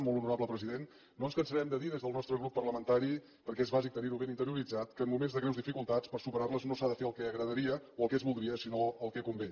molt honorable president no ens cansarem de dir des del nostre grup parlamentari perquè és bàsic tenir ho ben interioritzat que en moments de greus dificultats per superar les no s’ha de fer el que agradaria o el que es voldria sinó el que convé